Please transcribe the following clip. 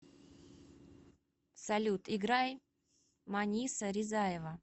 салют играй маниса ризаева